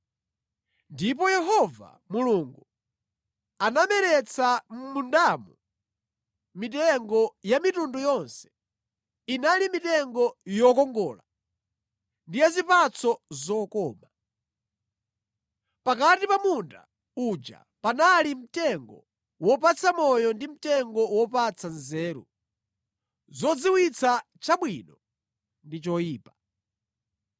Ndipo Yehova Mulungu anameretsa mʼmundamo mitengo ya mitundu yonse. Inali mitengo yokongola ndi ya zipatso zokoma. Pakati pa munda uja panali mtengo wopatsa moyo ndi mtengo wopatsa nzeru zodziwitsa chabwino ndi choyipa.